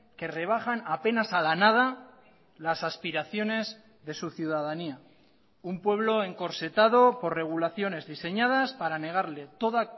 que rebajan apenas a la nada las aspiraciones de su ciudadanía un pueblo encorsetado por regulaciones diseñadas para negarle toda